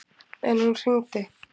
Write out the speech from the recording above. En hún hringdi.